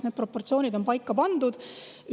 Need proportsioonid on paika pandud.